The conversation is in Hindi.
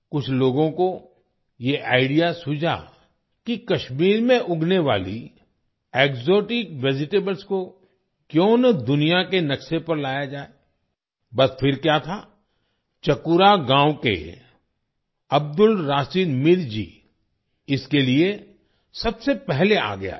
कुछ लोगों को ये आईडीईए सूझा कि कश्मीर में उगने वाली एक्सोटिक वेजिटेबल्स को क्यूँ ना दुनिया के नक्शे पर लाया जाए बस फिर क्या था चकूरा गावं के अब्दुल राशीद मीर जी इसके लिए सबसे पहले आगे आए